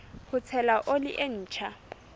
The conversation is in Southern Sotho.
ho tshela oli e ntjha